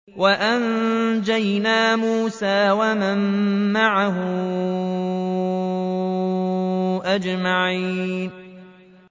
وَأَنجَيْنَا مُوسَىٰ وَمَن مَّعَهُ أَجْمَعِينَ